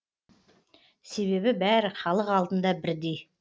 себебі бәрі халық алдында бірдей